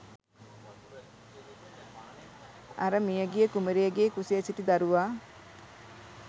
අර මියගිය කුමරියගේ කුසේ සිටි දරුවා